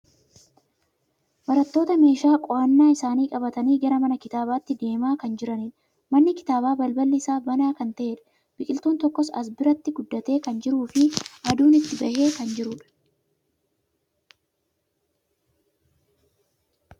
Barattoota meeshaa qo'annaa isaanii qabatanii gara mana kitaabaatti deemaa kan jiranidha. Manni kitaabaa balballi isaa banaa kan ta'eedha. Biqiltuun tokko as biratti guddatee kan jirufi aduun itti bahee kan jirudha.